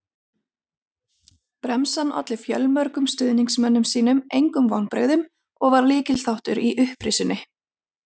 Bremsan olli fjölmörgum stuðningsmönnum sínum engum vonbrigðum og var lykilþáttur í upprisunni.